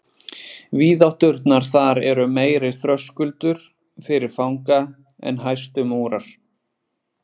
Víðátturnar þar eru meiri þröskuldur fyrir fanga en hæstu múrar.